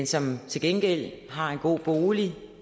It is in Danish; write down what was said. som til gengæld har en god bolig